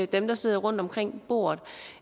dem der sidder omkring bordet